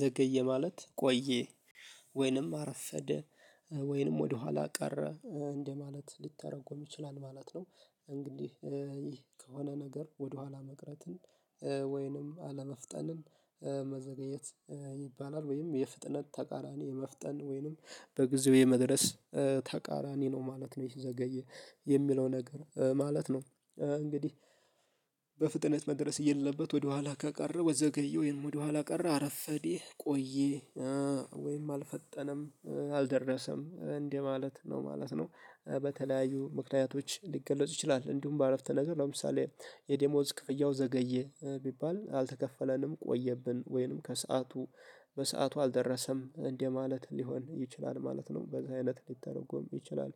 ዘገየ ማለት ቆየ ወይንም አረፈደ ወይንም ወደኋላ ቀረ እንደማለት ሊተረጎም ይችላል ማለት ነው። እንግዲህ ይህ ከሆነ ነገር ወደኋላ መቅረትን ወይንም አለመፍጠንን መዘገየት ይባላል ወይም የፍጥነት ተቃራኒ የመፍጠን ወይንም በጊዜው የመድረስ ተቃራኒ ነው ማለት ነው ይሄ ዘገየ የሚለው ነገር ማለት ነው። እንግዲህ በፍጥነት መድረስ እያለበት ወደኋላ ከቀረ ወዘገየ ወይም ወደኋላ ቀረ አረፈደ ቆዬ ወይም አልፈጠነም አልደረሰም እንደ ማለት ነው ማለት ነው። በተለያዩ ምክንያቶች ሊገለጽ ይችላል እንዲሁም በአረፍተ ነገር ለምሳሌ የዴሞዝ ክፍያው ዘገየ ቢባል አልተከፈለንም ቆየብን ወይንም ከሰአቱ በሰአቱ አልደረሰም እንደማለት ሊሆን ይችላል ማለት ነው በዛ አይነት ሊተረጎም ይችላል።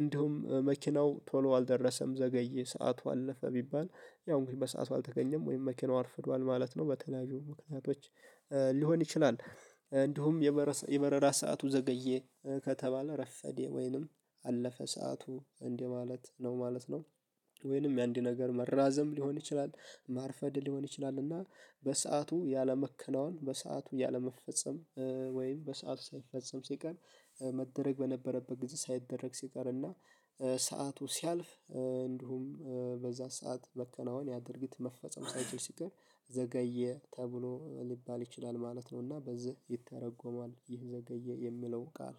እንዲሁም መኪናው ቶሎ አልደረሰም ዘገዬ ሰዓቱ አለፈ ቢባል ያው በሰአቱ አልተገኘም ወይም መኪናው አርፍዷል ማለት ነው። በተለያዩ ምክንያቶች ሊሆን ይችላል እንዲሁም የበረራ ሰዓቱ ዘገዬ ከተባለ ረፈዴ ወይንም አለፈ ሰዓቱ እንደማለት ነው ማለት ነው። ወይንም ያንድ ነገር መራዘም ሊሆን ይችላል ማርፈድ ሊሆን ይችላል እና በሰአቱ ያለመከናወን በሰአቱ ያለመፈጸም ወይም በሰአቱ ሳይፈጸም ሲቀር መደረግ በነበረበት ጊዜ ሳይደረግ ሲቀር እና ሰዓቱ ሲያልፍ እንዲሁም በዛ ሰዓት መከናወን ያ ድርጊት መፈጸም ሳይችል ሲቀር ዘገየ ተብሎ ሊባል ይችላል ማለት ነውና። በዚህ ይተረጎማል ዘገየ የሚለው ቃል